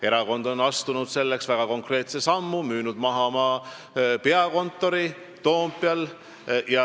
Erakond on astunud väga konkreetse sammu – müünud maha oma peakontori Toompeal.